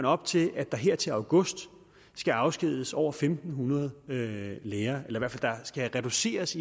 op til at der her til august skal afskediges over fem hundrede lærere i hvert fald skal reduceres